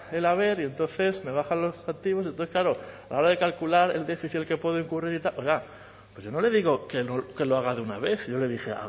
el haber y entonces me bajan los y entonces claro a la hora de calcular el déficit en el que puedo incurrir y oiga pues yo no le digo que lo haga de una vez si yo le dije